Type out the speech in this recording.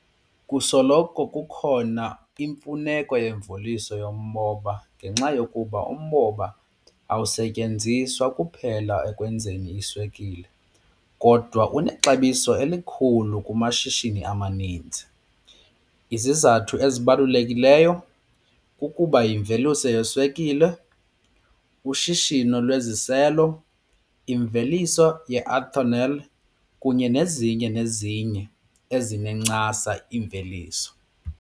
Kusoloko kukhona imfuneko yemveliso yomoba ngenxa yokuba umbona awusetyenziswa kuphela ekwenzeni iswekile kodwa unexabiso elikhulu kumashishini amaninzi. Izizathu ezibalulekileyo kukuba yimveliso yeswekile, ushishino lweziselo, imveliso ye-ethanol kunye nezinye nezinye ezinencasa iimveliso.